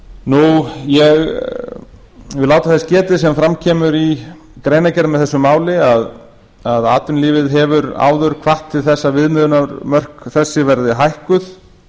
ég vil láta þess getið sem fram kemur í greinargerð með þessu máli að atvinnulífið hefur áður hvatt til þess að viðmiðunarmörk þessi verði hækkuð